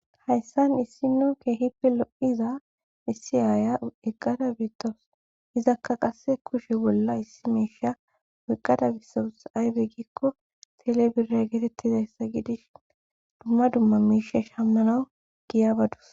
Hayssan issino keehipe lo7iza issi aaya eqqada bitous izakka qasse kushe bolla issi miisha weqqada bisaus aybe gikko telebire geetettizayssa gidish dumma dumma miisha shammanau giya badus.